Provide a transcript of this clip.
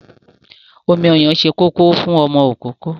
Omi ọyàn ṣe kókó fún ọmọ ìkókó.